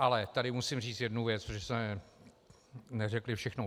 Ale tady musím říct jednu věc, protože jsme neřekli všechno.